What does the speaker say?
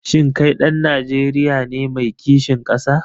Shin kai ɗan Najeriya ne mai kishin ƙasa?